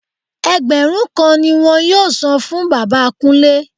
Ẹgbẹ̀rún kan ni wọn yóò san fún bàbá Kúnlé